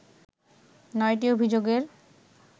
৯টি অভিযোগের